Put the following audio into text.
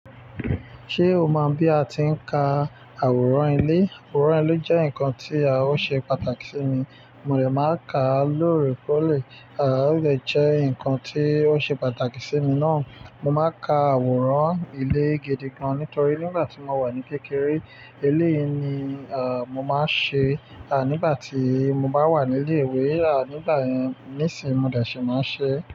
Ṣé o mọ bí a ti ń ka àwòrán ilé? Àwòrán ilé jẹ́ nǹkan tí ó ṣe pàtàkì sí mi, mo dẹ̀ máa ń kàá lóore kó lè, o dẹ̀ jẹ́ nǹkan tí ó ṣe pàtàkì sí mi náà. Mo máa ń ka àwòrán ilé gidi gan-an, nítorí nígbà tí mo wà ní kékeré eléyìí ni, mo máa ń ṣe, nígbà tí mo bá wà ní ilé-ìwé, nígbà yẹn nísìín, mo dẹ̀ ṣì máa ń ṣeé.